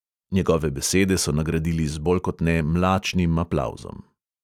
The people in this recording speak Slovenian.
Njegove besede so nagradili z bolj kot ne mlačnim aplavzom.